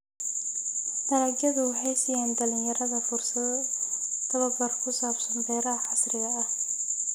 Dalagyadu waxay siiyaan dhalinyarada fursado tababar ku saabsan beeraha casriga ah.